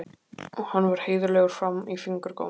Hann var heiðarlegur fram í fingurgóma.